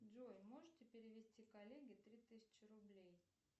джой можете перевести коллеге три тысячи рублей